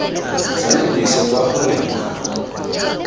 sa lebise kwa go reng